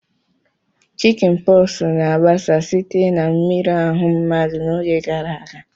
Chickinposu na-agbasa site na mmiri ahu mmadu n'oge gara aga.